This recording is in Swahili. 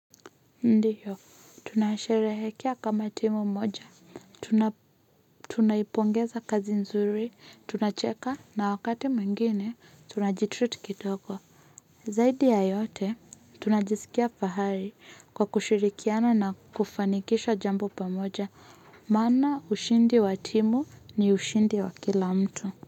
Ndiyo tunasherehekea kama timu moja tunaipongeza kazi nzuri tunacheka na wakati mwingine tunaji-treat kidogo zaidi ya yote tunajiskia fahari kwa kushirikiana na kufanikisha jambo pamoja maana ushindi wa timu ni ushindi wa kila mtu.